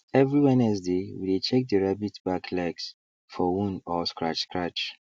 every wednesday we dey check the rabbits back legs for wound or scratch scratch